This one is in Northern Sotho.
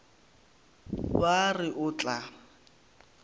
ba a re o tla